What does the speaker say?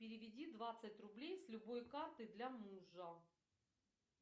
переведи двадцать рублей с любой карты для мужа